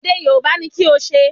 Èdè Yorùbá ni kí o ṣe